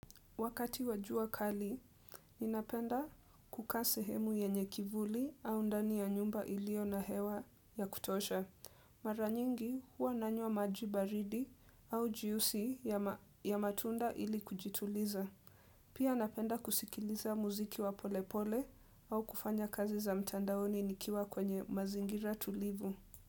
Wakati wa jua kali, ninapenda kukaa sehemu yenye kivuli au ndani ya nyumba iliyo na hewa ya kutosha. Mara nyingi huwa nanywa maji baridi au jiusi ya matunda ili kujituliza. Pia napenda kusikiliza muziki wa polepole au kufanya kazi za mtandaoni nikiwa kwenye mazingira tulivu.